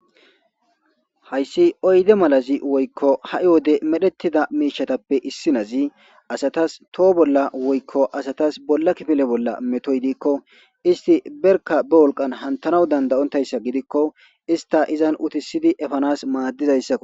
Hayssi oyde malazi woykko ha'i wode medhettida miishatappe issi nazi asatas toho bolla woykko asatas bolla kifile bolla metoy diikko isti berka ba wolqan hantanaw dandayontayssa gidikko ista izan utisidi efanas maaddizayssakko.